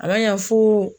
A b'a ya foo